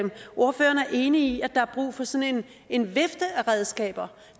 enig i at der er brug for sådan en vifte af redskaber